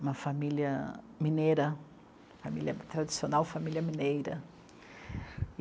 uma família mineira, família tradicional, família mineira.